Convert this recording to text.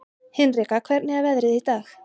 Hinrika, hvernig er veðrið í dag?